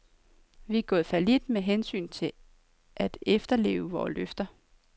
Vi er gået fallit med hensyn til at efterleve vore løfter.